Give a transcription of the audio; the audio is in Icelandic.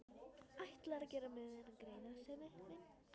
Ætlarðu að gera mér þennan greiða, Sæmi minn?